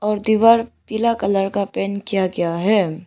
दीवार पीला कलर का पेंट किया गया है।